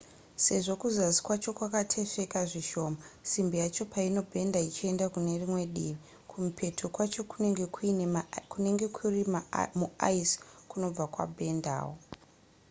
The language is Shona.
sezvo kuzasi kwacho kwakatesveka zvishoma simbi yacho painobhedha ichienda kune rimwe divi kumupeto kwacho kunenge kuri muice kunobva kwabhendawo